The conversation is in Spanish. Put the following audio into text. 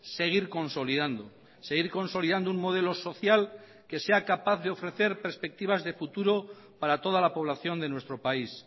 seguir consolidando seguir consolidando un modelo social que sea capaz de ofrecer perspectivas de futuro para toda la población de nuestro país